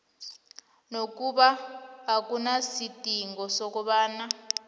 nakube akunasidingo sokobana